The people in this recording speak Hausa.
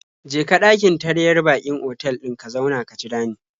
Je ka ɗakin taryar baƙin otal ɗin ka zauna ka jira ni.